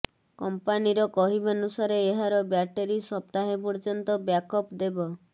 କମ୍ପାନୀର କହିବାନୁସାରେ ଏହାର ବ୍ୟାଟେରୀ ସପ୍ତାହେ ପର୍ଯ୍ୟନ୍ତ ବ୍ୟାକ୍ଅପ୍ ଦେବ